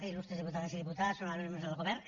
il·lustres diputades i diputats honorables membres del govern